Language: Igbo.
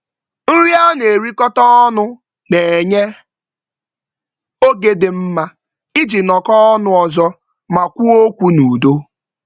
Nri a na-erikọta ọnụ na-enye oge dị mma iji nọkọọ ọnụ ọzọ ma kwuo okwu n'udo.